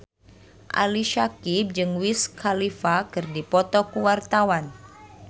Ali Syakieb jeung Wiz Khalifa keur dipoto ku wartawan